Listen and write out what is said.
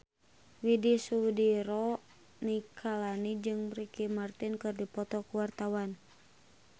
Widy Soediro Nichlany jeung Ricky Martin keur dipoto ku wartawan